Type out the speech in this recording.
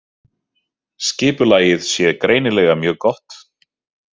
Skipulagið sé greinilega mjög gott